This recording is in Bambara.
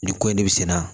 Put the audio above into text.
Nin ko in de bɛ sin na